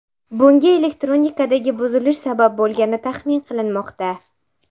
Bunga elektronikadagi buzilish sabab bo‘lgani taxmin qilinmoqda.